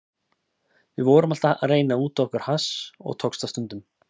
Við vorum alltaf að reyna að útvega okkur hass og tókst það stundum.